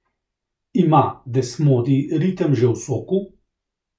Ima desmodij ritem že v soku?